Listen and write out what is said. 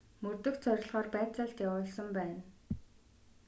мөрдөх зорилгоор байцаалт явуулсан байна